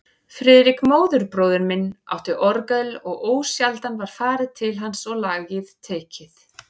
Friðrik, móðurbróðir minn, átti orgel og ósjaldan var farið til hans og lagið tekið.